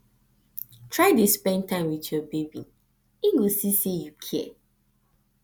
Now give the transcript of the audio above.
try dey spend time wit yur baby em go see sey yu kia